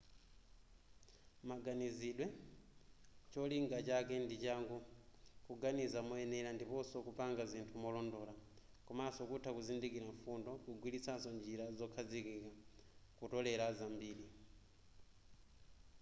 maganizidwewa cholinga chake ndi changu kuganiza moyenera ndiponso kupanga zinthu molondola komaso kutha kuzindikira mfundo kugwiritsanso njira zokhazikika kutolela zambiri